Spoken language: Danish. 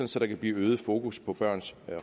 så der kan blive et øget fokus på børns